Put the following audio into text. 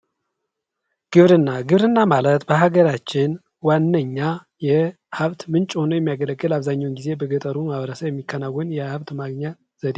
ግብርና ግብርና ማለት በሀገራችን ዋነኛ የሀብት ምንጭ ሁኖ የሚያገለግል አብዛኛውን ጊዜ በገጠሩ ማህበረሰብ የሚከናወን የሀብት ማግኛ ዘዴ ነው።